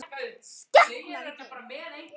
Skepnan þín!